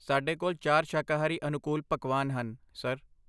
ਸਾਡੇ ਕੋਲ ਚਾਰ ਸ਼ਾਕਾਹਾਰੀ ਅਨੁਕੂਲ ਪਕਵਾਨ ਹਨ, ਸਰ